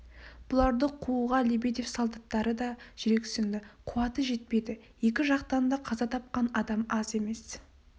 бұларды қууға лебедев солдаттары да жүрексінді қуаты жетпеді екі жақтан да қаза тапқан адам аз емес